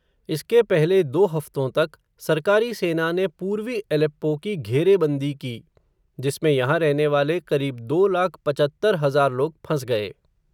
इसके पहले दो हफ़्तों तक, सरकारी सेना ने, पूर्वी एलेप्पो की घेरेबंदी की, जिसमें यहां रहने वाले क़रीब दो लाख पचहत्तर हज़ार लोग फंस गए.